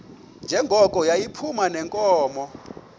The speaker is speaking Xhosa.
njengoko yayiphuma neenkomo